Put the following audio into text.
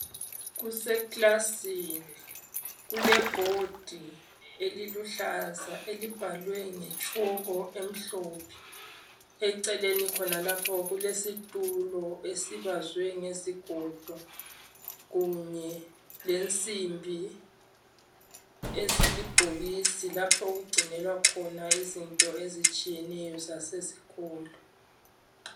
Kuseklasini kule bhodi eluhlaza elibhalwe ngetshoko emhlophe, eceleni khona lapho kulesitulo esibazwe ngesigodo kanye lensimbi ezilibhokisi lapho okugcinelwa khona izinto ezitshiyeneyo zasesikolo.